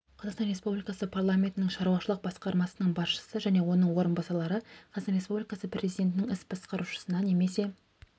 қазақстан республикасы парламентінің шаруашылық басқармасының басшысы және оның орынбасарлары қазақстан республикасы президентінің іс басқарушысына немесе